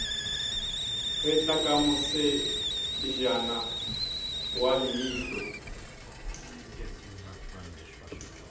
getla ka mosejana wa leihlo